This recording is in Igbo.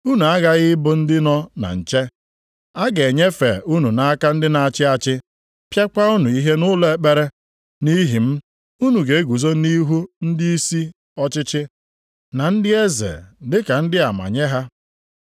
“Unu aghaghị ịbụ ndị nọ na nche. A ga-enyefe unu nʼaka ndị na-achị achị, pịakwa unu ihe nʼụlọ ekpere. Nʼihi m, unu ga-eguzo nʼihu ndịisi ọchịchị na ndị eze dị ka ndị ama nye ha.